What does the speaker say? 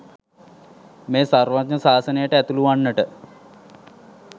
මේ සර්වඥ ශාසනයට ඇතුළුවන්නට